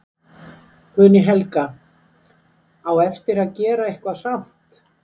Guðný Helga: Á eftir að gera eitthvað samt?